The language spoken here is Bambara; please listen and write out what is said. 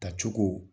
Tacogo